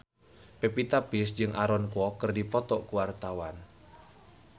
Pevita Pearce jeung Aaron Kwok keur dipoto ku wartawan